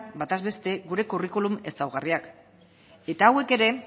bataz beste gure curriculum ezaugarriak eta hauek ere